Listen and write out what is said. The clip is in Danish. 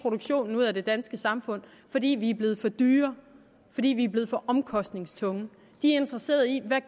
produktionen ud af det danske samfund fordi vi er blevet for dyre fordi vi er blevet for omkostningstunge er interesseret i hvad